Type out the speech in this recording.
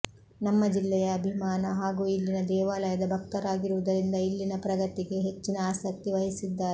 ನಮ್ಮ ಜಿಲ್ಲೆಯ ಅಭಿಮಾನ ಹಾಗೂ ಇಲ್ಲಿನ ದೇವಾಲಯದ ಭಕ್ತರಾಗಿರುವುದರಿಂದ ಇಲ್ಲಿನ ಪ್ರಗತಿಗೆ ಹೆಚ್ಚಿನ ಆಸಕ್ತಿ ವಹಿಸಿದ್ದಾರೆ